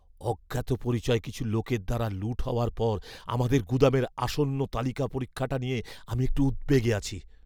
অজ্ঞাতপরিচয় কিছু লোকের দ্বারা লুঠ হওয়ার পর আমাদের গুদামের আসন্ন তালিকা পরীক্ষাটা নিয়ে আমি একটু উদ্বেগে আছি।